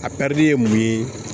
A ye mun ye